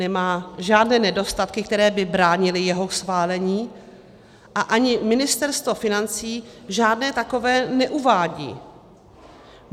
Nemá žádné nedostatky, které by bránily jeho schválení, a ani Ministerstvo financí žádné takové neuvádí.